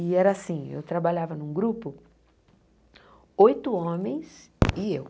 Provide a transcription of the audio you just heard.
E era assim, eu trabalhava num grupo, oito homens e eu.